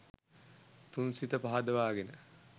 තුන් සිත පහදවා ගෙන